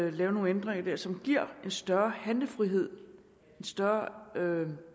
at lave nogle ændringer der som giver en større handlefrihed en større